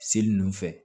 Seli ninnu fɛ